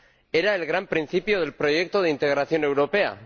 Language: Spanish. Era el gran principio del proyecto de integración europea.